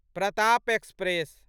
Pratap express